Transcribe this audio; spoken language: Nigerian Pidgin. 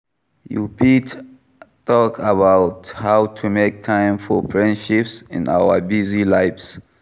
You fit talk about how to make time for friendships in our busy lives.